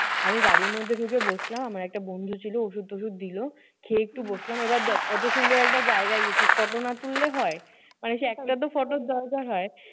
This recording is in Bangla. আমি গাড়ির মধ্যে ঢুকে বসলাম। আমার একটা বন্ধু ছিল ওষুধ-টশুধ দিলো। খেয়ে একটু বসলাম। এইবার দেখ অতো সুন্দর একটা জায়গায় গেছি photo না তুললে হয়? মানুষের একটাতো photo দরকার হয়।